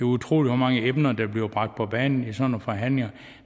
utroligt hvor mange emner der bliver bragt på banen i sådan nogle forhandlinger